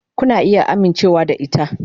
Kuna iya amincewa da ita.